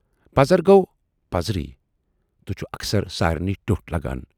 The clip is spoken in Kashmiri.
پَزر گَو پَزرے تہٕ چھُ اکثر سارِنٕے ٹٮ۪وٹھ لگان۔